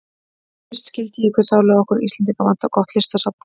Þá fyrst skildi ég hve sárlega okkur Íslendinga vantar gott listasafn.